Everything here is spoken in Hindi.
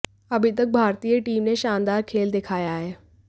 अभी तक भारतीय टीम ने शानदार खेल दिखाया है